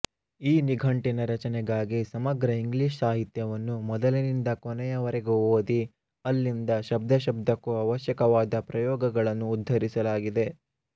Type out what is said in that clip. ಈ ನಿಘಂಟಿನ ರಚನೆಗಾಗಿ ಸಮಗ್ರ ಇಂಗ್ಲಿಷ್ ಸಾಹಿತ್ಯವನ್ನು ಮೊದಲಿಂದ ಕೊನೆಯ ವರೆಗೂ ಓದಿ ಅಲ್ಲಿಂದ ಶಬ್ದಶಬ್ದಕ್ಕೂ ಅವಶ್ಯಕವಾದ ಪ್ರಯೋಗಗಳನ್ನು ಉದ್ಧರಿಸಲಾಗಿದೆ